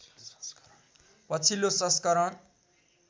पछिल्लो संस्करण